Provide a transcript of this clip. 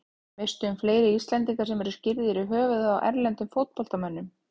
Veistu um fleiri Íslendinga sem eru skírðir í höfuðið á erlendum fótboltamönnum?